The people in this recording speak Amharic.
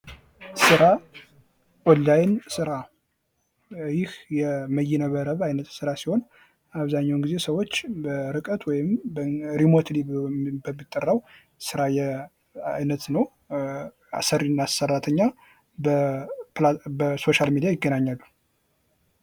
ስራ ኦንላይን ስራ ይህ የመይነ መረብ አይነት ስራ ሲሆን አብዛኛውን ጊዜ ሰዎች በርቀት ወይም በሪሞት በሚጠራው ስራ አይነት ነው። አሰሪና ሰራተኛ በሶሻል ሚዲያ ይገናኛሉ።